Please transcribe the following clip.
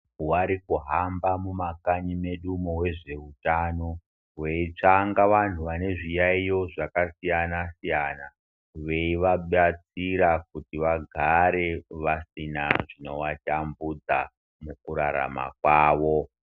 Varikuhamba mumakanyimo vezvehutano veitsvanga vanhu vane zviyaiyo zvakasiyana siyana veivabatsira kuti vagare vasina zvinobatambudza mukurarama kwawo.